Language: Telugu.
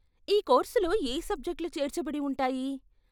ఈ కోర్సులో యే సబ్జెక్ట్లు చేర్చబడి ఉంటాయి?